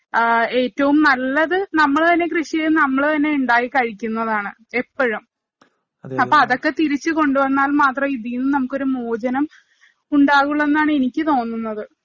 ഏറ്റവും നല്ലത് നമ്മള് തന്നെ കൃഷി ചെയ്ത് നമ്മള് തന്നെ ഇണ്ടാക്കി കഴിക്കുന്നതാണ് എപ്പഴും. അപ്പൊ അതൊക്കെ തിരിച്ചു കൊണ്ടുവന്നാല്‍ മാത്രമേ ഇതീ നിന്ന് നമുക്ക് ഒരു മോചനം ഉണ്ടാകുവുള്ളൂ എന്നാണ് എനിക്ക് തോന്നുന്നത്.